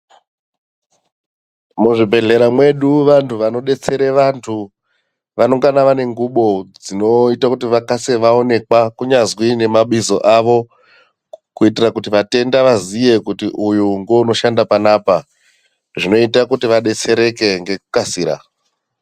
Muzvibhedhlera medu vantu vanodetsera vantu vanenge vane ngubo dzinoita kuti vakasire kuonekwa ubeni nengobo dzawo kuitira kuti matenda azive kuti uyu ndiye anoshanda panapa zvinoita kuti vadetsereke ngekukasira.